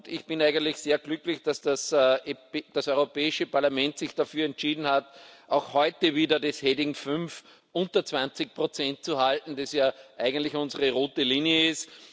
Ich bin eigentlich sehr glücklich, dass das Europäische Parlament sich dafür entschieden hat, auch heute wieder die Rubrik V unter 20 zu halten, was ja eigentlich unsere rote Linie ist.